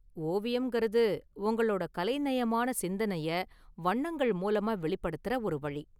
ஓவியம்கறது, உங்களோட கலைநயமான சிந்தனைய வண்ணங்கள் மூலமா வெளிப்படுத்தற ஒரு வழி.